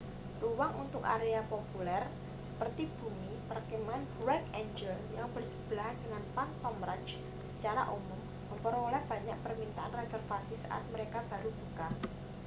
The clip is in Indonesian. ruang untuk area paling populer seperti bumi perkemahan bright angel yang bersebelahan dengan phantom ranch secara umum memperoleh banyak permintaan reservasi saat mereka baru buka